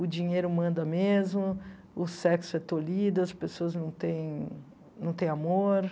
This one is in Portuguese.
O dinheiro manda mesmo, o sexo é tolido, as pessoas não têm não tem amor.